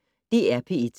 DR P1